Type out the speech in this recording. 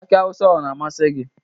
Aki awụsa ọ na-amasị gi?